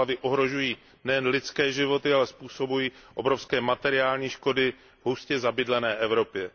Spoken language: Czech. Záplavy ohrožují nejen lidské životy, ale způsobují obrovské materiální škody v hustě zabydlené Evropě.